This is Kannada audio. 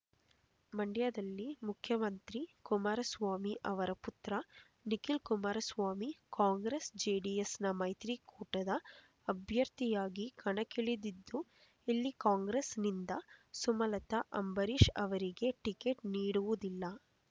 ಮಂಡ್ಯದಲ್ಲಿ ಮುಖ್ಯಮಂತ್ರಿ ಕುಮಾರಸ್ವಾಮಿ ಅವರ ಪುತ್ರ ನಿಖಿಲ್ ಕುಮಾರಸ್ವಾಮಿ ಕಾಂಗ್ರೆಸ್ ಜೆಡಿಎಸ್‌ನ ಮೈತ್ರಿ ಕೂಟದ ಅಭ್ಯರ್ಥಿಯಾಗಿ ಕಣಕ್ಕಿಳಿದಿದ್ದು ಇಲ್ಲಿ ಕಾಂಗ್ರೆಸ್‌ನಿಂದ ಸುಮಲತಾ ಅಂಬರೀಷ್ ಅವರಿಗೆ ಟಿಕೆಟ್ ನೀಡುವುದಿಲ್ಲ